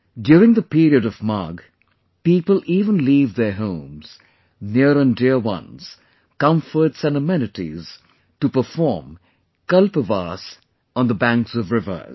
During the period of Magh, people even leave their homes, near and dear ones, comforts and amenities to perform KALPVAAS on the banks of rivers